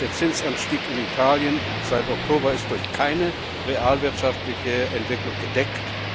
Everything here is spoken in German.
Der Zinsanstieg in Italien seit Oktober ist durch keine realwirtschaftliche Entwicklung gedeckt.